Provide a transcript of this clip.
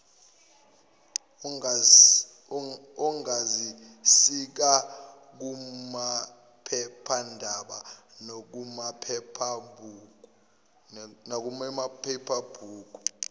ongazisika kumaphephanda nakumaphephabhuku